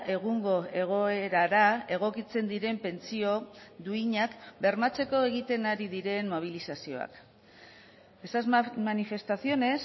egungo egoerara egokitzen diren pentsio duinak bermatzeko egiten ari diren mobilizazioak esas manifestaciones